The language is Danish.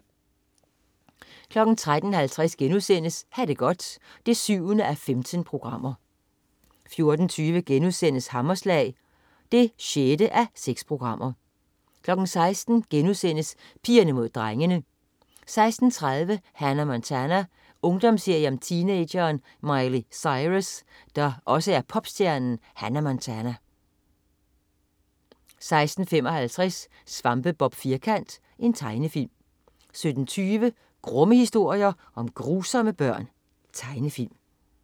13.50 Ha' det godt 7:15* 14.20 Hammerslag 6:6* 16.00 Pigerne Mod Drengene* 16.30 Hannah Montana. Ungdomsserie om teenageren Miley Cyrus, der også er popstjernen Hannah Montana 16.55 Svampebob Firkant. Tegnefilm 17.20 Grumme historier om grusomme børn. Tegnefilm